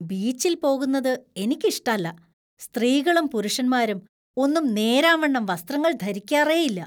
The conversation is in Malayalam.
ബീച്ചിൽ പോകുന്നത് എനിക്കിഷ്ടല്ല. സ്ത്രീകളും പുരുഷന്മാരും ഒന്നും നേരാവണ്ണം വസ്ത്രങ്ങൾ ധരിക്കാറേയില്ല .